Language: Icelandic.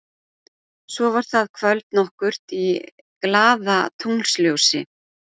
Svo var það kvöld nokkurt í glaðatunglsljósi.